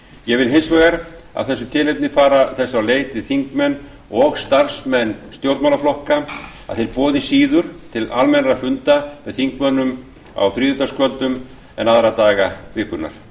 ég vil hins vegar af þessu tilefni fara þess á leit við þingmenn og starfsmenn stjórnmálaflokka að þeir boði síður til almennra funda með þingmönnum á þriðjudagskvöldum en aðra daga vikunnar